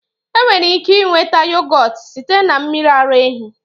Enwere ike nweta yohgurt site na mmiri ara ehi